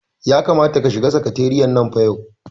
Ya kamata ka shiga sakatariyan nan fa yau.